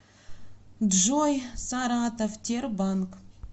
джой саратов тербанк